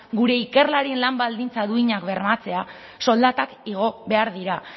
gure ikerlarien lan baldintza duinak bermatzea soldatak igo behar dira